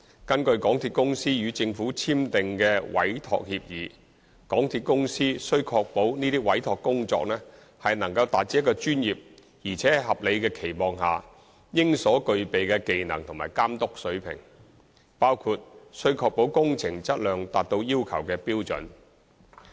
根據港鐵公司與政府簽訂的委託協議，港鐵公司須確保這些委託工作能達至一個專業而在合理的期望下應所具備的技能和監督水平，包括須確保工程質量達到要求的標準。